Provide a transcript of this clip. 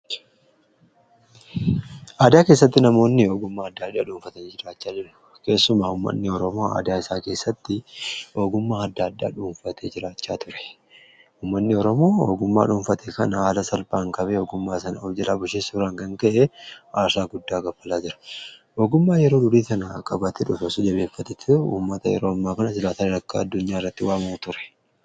adiyaa keessatti namoonni ogummaa addaa adhaa dhuunfatanya jiraachaa jiru keessuma ummanni horoomo adia isaa keessatti ogummaa adda adhaa dhuunfate jiraachaa ture ummanni horomoo hogummaa dhuunfate kana aala salpaan kabee ogummaa sana objilaa bushisi biraangan ka'e aashaa guddaa gabalaa jira ogummaa yeroo dulii sana kabaate dhusosu jabeeffateti ummata yeroo ammaa kana jilaata dadakkaa addunyaa irratti waama'u ture